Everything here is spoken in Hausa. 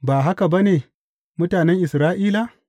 Ba haka ba ne, mutanen Isra’ila?